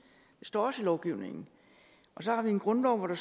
står også i lovgivningen så har vi en grundlov hvor der